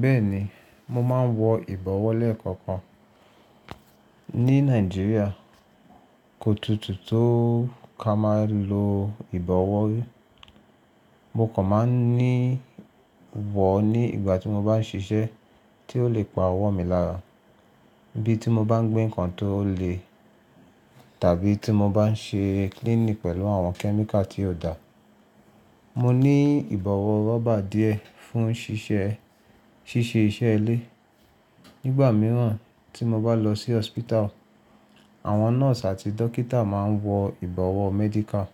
Bẹ́ẹ̀ni, mo máa ń wọ ìbọ̀wọ́ lẹ́ẹ̀kọ̀kan. Ní Nàìjíríà, kò tutù tó ká máa lo ìbọ̀wọ́. Mo kàn máa ń ní wọ̀ ní ìgbà tí mo bá ń ṣiṣẹ́ tí ó lè pa ọwọ́ mi lára bí tí mo bá ń gbé nǹkan tó le tàbí tí mo bá ń ṣe cleaning pẹ̀lú àwọn kẹ́míkà tí ó dà. Mo ní ìbọ̀wọ́ rọ́bà díẹ̀ fún ṣíṣe iṣẹ́ ilé. Nígbà mìíràn tí mo bá lọ sí hospital, àwọn nọ́ọ̀sì àti dókítà máa ń wọ ìbọ̀wọ́ medical.